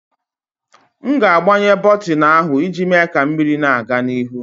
M na-agbanye bọtịnụ ahụ iji mee ka mmiri na-aga n'ihu.